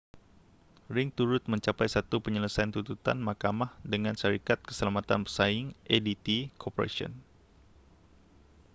ring turut mencapai satu penyelesaian tuntutan mahkamah dengan syarikat keselamatan pesaing adt corporation